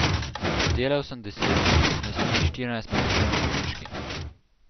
Delal sem deset dni, naslednjih štirinajst pa preživel na bolniški.